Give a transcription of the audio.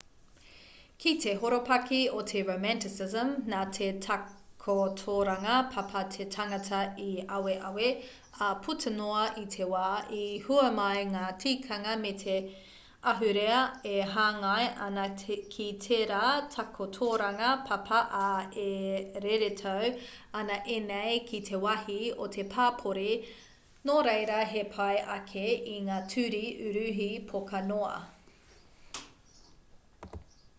ki te horopaki o te romanticism nā te takotoranga papa te tangata i aweawe ā puta noa i te wā i hua mai ngā tikanga me te ahurea e hāngai ana ki tērā takotoranga papa ā e reretau ana ēnei ki te wāhi o te papori nō reira he pai ake i ngā ture uruhi poka noa